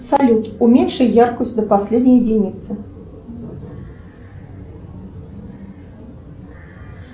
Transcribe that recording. салют уменьши яркость до последней единицы